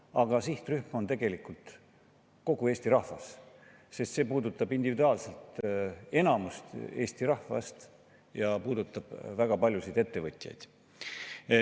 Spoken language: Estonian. Aga sihtrühm on tegelikult kogu Eesti rahvas, sest see puudutab individuaalselt enamikku Eesti rahvast ja puudutab väga paljusid ettevõtjaid.